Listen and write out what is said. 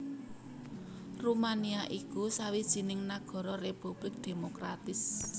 Rumania iku sawijining nagara republik demokratis